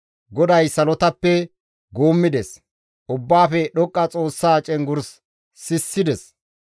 GODAY salotappe guummides; Ubbaafe Dhoqqa Xoossaa cenggurs sissides.